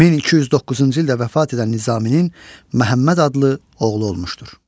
1209-cu ildə vəfat edən Nizaminin Məhəmməd adlı oğlu olmuşdur.